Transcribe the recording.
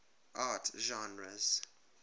art genres